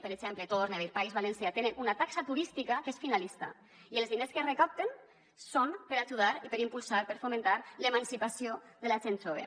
per exemple ho torne a dir al país valencià tenen una taxa turística que és finalista i els diners que recapten són per ajudar i per impulsar per fomentar l’emancipació de la gent jove